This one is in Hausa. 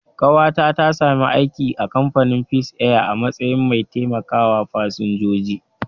Ƙawata ta sami aiki a kamfanin Peace Air a matsayin mai taimakawa fasinjoji